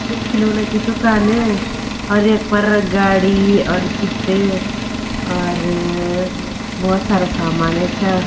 ये खिलौना की दूकान और यख पर गाडी और गिफ्ट और बहौत सारा सामान यखा।